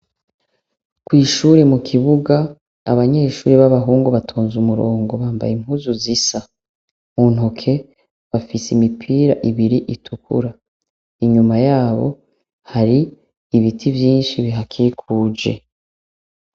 Kwishure mukibuga abanyeshure babahungu batonze umurongo bambaye impuzu zisa muntoke bafise imipira ibiri itukura inyuma yabo hari ibiti vyinshi bihakikuje